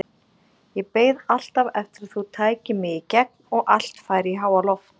Ég beið alltaf eftir að þú tækir mig í gegn og allt færi í háaloft.